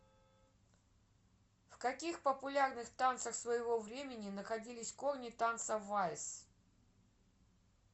в каких популярных танцах своего времени находились корни танца вальс